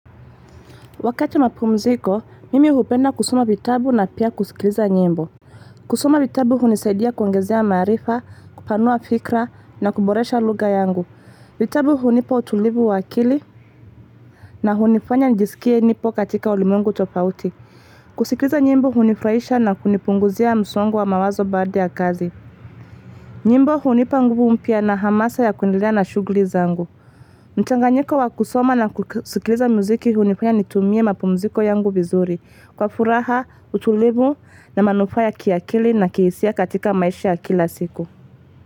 Wakati wa mapumziko, mimi hupenda kusoma vitabu na pia kusikiliza nyimbo. Kusoma vitabu hunisaidia kuongezea maarifa, kupanua fikra na kuboresha lugha yangu. Vitabu hunipa utulivu wa akili na hunifanya nijisikie nipo katika ulimwengu tofauti. Kusikiliza nyimbo hunifurahisha na kunipunguzia msongo wa mawazo baada ya kazi. Nyimbo hunipa nguvu mpya na hamasa ya kuendelea na shughli zangu. Mchanga nyiko wa kusoma na kusikiliza muziki huu nifanya nitumie mapumziko yangu vizuri kwa furaha, utulivu na manufaaa ya kiakili na kihisia katika maisha ya kila siku.